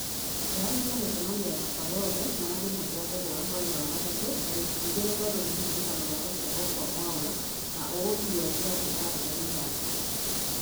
teanĩria mĩcemanio yakwa yothe na thimũ cia kũhũra mweri wa gatatũ tarĩki igĩrĩ tondũ nĩ kĩririkano gĩa gũciarwo kwa mwaura na ũũtue gĩathĩ karenda-inĩ yaku